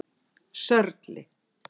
Sörli